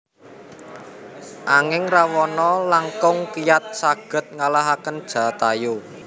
Anging Rawana langkung kiyat saged ngalahaken Jatayu